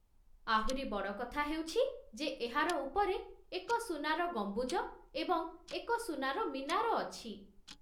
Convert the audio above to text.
ଆହୁରି ବଡ଼ କଥା ହେଉଛି ଯେ ଏହାର ଉପରେ ଏକ ସୁନାର ଗମ୍ବୁଜ ଏବଂ ଏକ ସୁନାର ମିନାର ଅଛି।